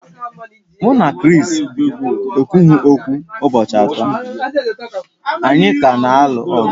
Mụ na Chris ekwughị okwu ụbọchị atọ, anyị ka na-alụ ọgụ